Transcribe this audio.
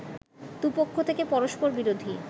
দু'পক্ষ থেকে পরষ্পরবিরোধী